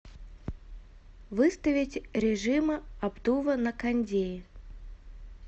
выставить режима обдува на кондее